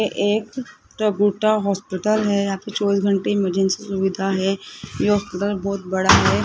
ये एक टूटा फूटा हॉस्पिटल है यहां पे चौबीस घंटे इमरजेंसी सुविधा है ये हॉस्पिटल बहोत बड़ा है।